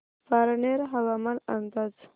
पारनेर हवामान अंदाज